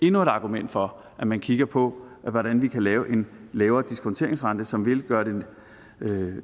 endnu et argument for at man kigger på hvordan vi kan lave en lavere diskonteringsrente som vil gøre det